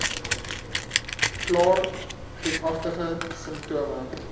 klaar griepagtige simptome